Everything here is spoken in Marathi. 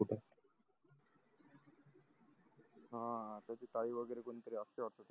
ह त्याची ताई वगेरे कुणी तरी असते वाटते तिकडे